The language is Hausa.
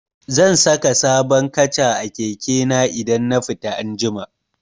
Zan saka sabon kaca a keke na idan na fita anjima.